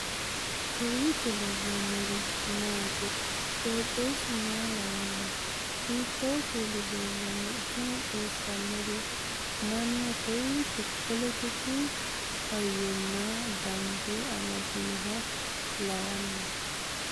kowiicho leellannori maati ? qooxeessu maa lawaanno ? hiitoo kuuli leellanno ? tini xawissannori mannu kowiicho poletiku hayyonna dambe amadinoha lawanno